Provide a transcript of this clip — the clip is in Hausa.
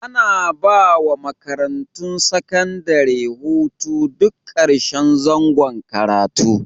Ana ba wa makarantun sakandare hutu duk karshen zangon karatu.